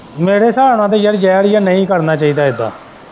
ਮੇਰੇ ਹਿਸਾਬ ਨਾਲ਼ ਤਾਂ ਯਾਰ ਜ਼ਹਿਰ ਹੀ ਏ ਨਹੀਂ ਕਰਨਾ ਚਾਹੀਦੀ ਇੱਦਾ।